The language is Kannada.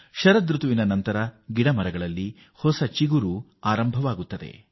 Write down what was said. ಶಿಶಿರಋತುವಿನ ಬಳಿಕ ಮರಗಳಲ್ಲಿ ಹಣ್ಣಾದ ಹಾಗೂ ಒಣಗಿದ ಎಲೆಗಳು ಉದುರಿ ಹೊಸ ಚಿಗುರು ಒಡೆಯಲು ಆರಂಭಿಸುತ್ತದೆ